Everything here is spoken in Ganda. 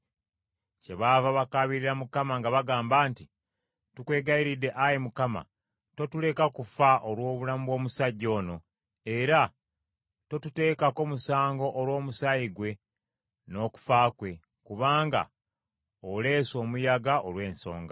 Kyebaava bakaabirira Mukama ng’abagamba nti, “Tukwegayiridde Ayi Mukama , totuleka kufa olw’obulamu bw’omusajja ono, era totuteekako musango olw’omusaayi gwe n’okufa kwe, kubanga oleese omuyaga olw’esonga.”